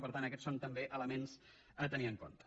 per tant aquests són també elements a tenir en compte